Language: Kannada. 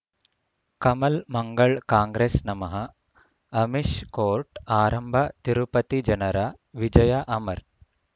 ಕಮಲ್ ಮಂಗಳ್ ಕಾಂಗ್ರೆಸ್ ನಮಃ ಅಮಿಷ್ ಕೋರ್ಟ್ ಆರಂಭ ತಿರುಪತಿ ಜನರ ವಿಜಯ ಅಮರ್